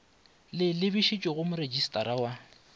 le lebišwe go moretšistara wa